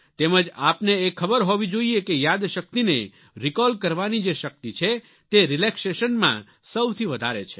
તેમજ આપને એ ખબર હોવી જોઈએ કે યાદશક્તિને રિકોલ કરવાની જે શક્તિ છે તે Relaxationમાં સૌથી વધારે છે